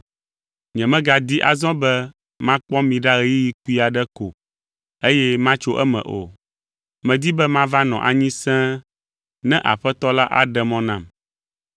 Nyemegadi azɔ be makpɔ mi ɖa ɣeyiɣi kpui aɖe ko eye matso eme o. Medi be mava nɔ anyi sẽe ne Aƒetɔ la aɖe mɔ nam.